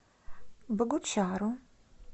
богучару